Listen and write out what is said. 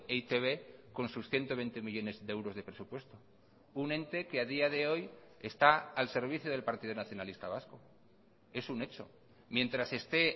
e i te be con sus ciento veinte millónes de euros de presupuesto un ente que a día de hoy está al servicio del partido nacionalista vasco es un hecho mientras esté